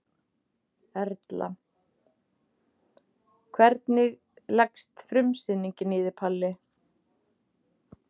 Erla: Hvernig leggst frumsýning í þig Palli?